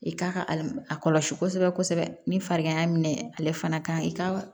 I k'a ka al a kɔlɔsi kosɛbɛ kosɛbɛ ni farigan y'a minɛ ale fana ka i ka